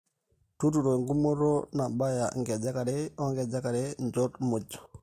tuturo enkumoto nabaya -nkejek are o nkejek are nchoot muuj